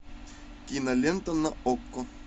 кинолента на окко